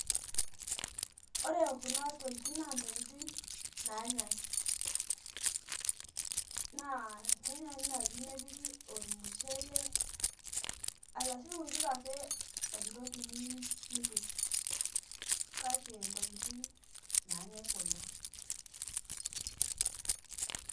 Ore kuna tokitin naa ntokitin nanyae naa kenyae naji nepiki ormushele arashu ipikake entoki niyieu nipik kake ntokitin nanyae kuna.